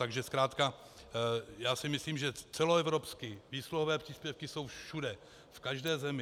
Takže zkrátka já si myslím, že celoevropsky výsluhové příspěvky jsou všude, v každé zemi.